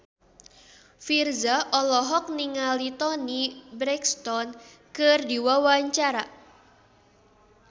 Virzha olohok ningali Toni Brexton keur diwawancara